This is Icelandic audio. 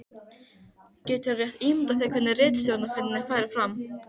Geturðu rétt ímyndað þér hvernig ritstjórnarfundirnir færu fram?